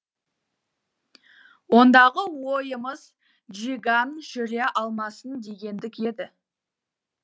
ондағы ойымыз чжиган жүре алмасын дегендік еді